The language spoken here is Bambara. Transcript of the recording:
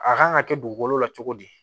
A kan ka kɛ dugukolo la cogo di